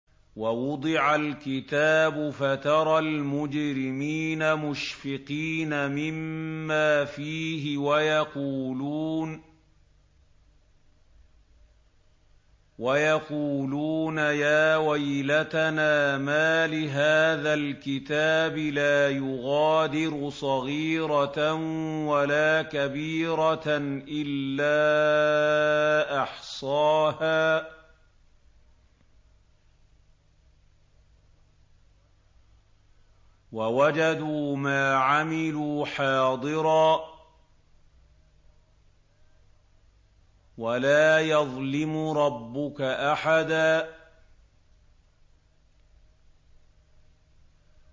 وَوُضِعَ الْكِتَابُ فَتَرَى الْمُجْرِمِينَ مُشْفِقِينَ مِمَّا فِيهِ وَيَقُولُونَ يَا وَيْلَتَنَا مَالِ هَٰذَا الْكِتَابِ لَا يُغَادِرُ صَغِيرَةً وَلَا كَبِيرَةً إِلَّا أَحْصَاهَا ۚ وَوَجَدُوا مَا عَمِلُوا حَاضِرًا ۗ وَلَا يَظْلِمُ رَبُّكَ أَحَدًا